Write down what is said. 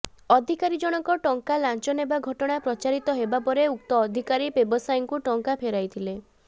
ଅଧିକାରୀ ଜଣକ ଟଙ୍କା ଲାଞ୍ଚ ନେବା ଘଟଣା ପ୍ରଚାରିତ ହେବା ପରେ ଉକ୍ତ ଅଧିକାରୀ ବ୍ୟବସାୟୀଙ୍କୁ ଟଙ୍କା ଫେରାଇଥିଲେ